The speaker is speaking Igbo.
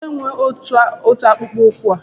Onye nwe ọtu akpụkpọ ụkwụ a?